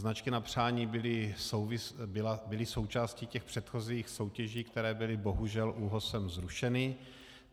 Značky na přání byly součástí těch předchozích soutěží, které byly bohužel ÚOHSem zrušeny.